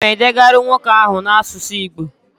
Agam edegara nwoke ahu na asusu igbo